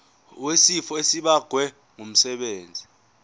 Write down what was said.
wesifo esibagwe ngumsebenzi